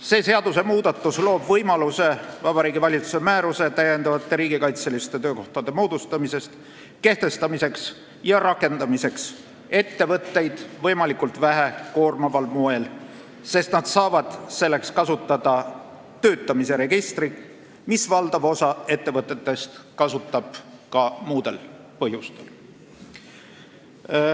See seadusmuudatus loob võimaluse kehtestada Vabariigi Valitsuse määrus täiendavate riigikaitseliste töökohtade moodustamise kohta ja rakendada seda ettevõtteid võimalikult vähe koormaval moel, sest nad saavad kasutada töötamise registrit, mida valdav osa ettevõtetest kasutab ka muudel põhjustel.